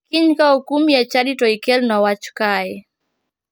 Kiny ka okumi e chadi to ikelna wach kae.